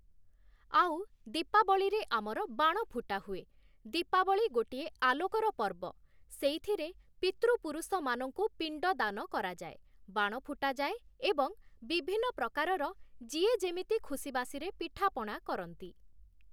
ଆଉ ଦୀପାବଳୀରେ ଆମର ବାଣ ଫୁଟା ହୁଏ । ଦୀପାବଳି ଗୋଟିଏ ଆଲୋକର ପର୍ବ । ସେଇଥିରେ ପିତୃପୁରୁଷମାନଙ୍କୁ ପିଣ୍ଡଦାନ କରାଯାଏ, ବାଣ ଫୁଟାଯାଏ ଏବଂ ବିଭିନ୍ନ ପ୍ରକାରର ଯିଏ ଯେମିତି ଖୁସିବାସିରେ ପିଠାପଣା କରନ୍ତି ।